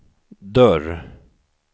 dörr